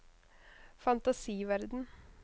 fantasiverden